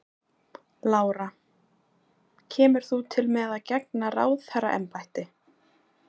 Lára: Kemur þú til með að gegna ráðherraembætti?